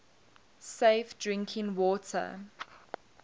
safe drinking water